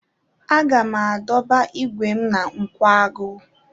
Aga m adọba igwe m na nkwagu.